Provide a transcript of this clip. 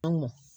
An mɔ